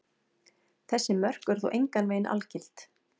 Þessi mörk eru þó engan veginn algild.